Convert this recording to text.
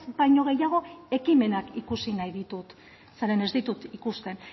baino gehiago ekimenak ikusi nahi ditut zeren ez ditut ikusten